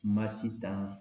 Masitan